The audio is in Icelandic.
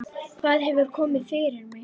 Hvað hefur komið fyrir mig?